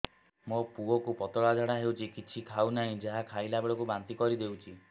ମୋ ପୁଅ କୁ ପତଳା ଝାଡ଼ା ହେଉଛି କିଛି ଖାଉ ନାହିଁ ଯାହା ଖାଇଲାବେଳକୁ ବାନ୍ତି କରି ଦେଉଛି